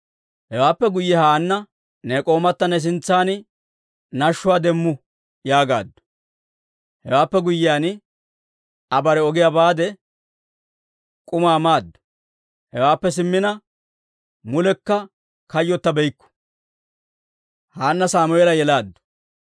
Hewaappe guyye Haanna, «Ne k'oomatta ne sintsan nashshuwaa demmu» yaagaaddu. Hewaappe guyyiyaan, Aa bare ogiyaa baade, k'umaa maaddu; hewaappe simmina mulekka kayyotabeykku.